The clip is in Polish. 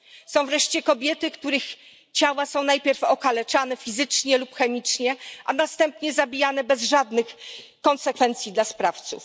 Są wreszcie kobiety, które najpierw są okaleczane fizycznie lub chemicznie, a następnie zabijane bez żadnych konsekwencji dla sprawców.